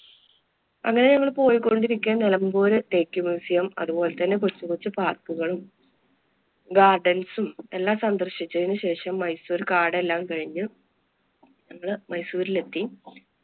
അങ്ങനെ ഞങ്ങള് പോയ്‌ക്കൊണ്ടിരിക്കെ നിലമ്പൂര്‍ തേക്ക് museum, അതുപോലെ തന്നെ കൊച്ചുകൊച്ചു park കളും gardens ഉം എല്ലാം സന്ദര്‍ശിച്ചതിനു ശേഷം മൈസൂർ കാട് എല്ലാം കഴിഞ്ഞു ങ്ങള് മൈസൂരിലെത്തി.